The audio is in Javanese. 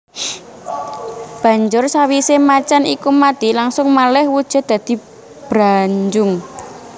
Banjur sawisé macan iku mati langsung malih wujud dadi Branjung